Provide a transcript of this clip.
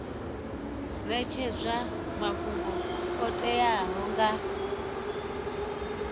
netshedzwa mafhungo o teaho nga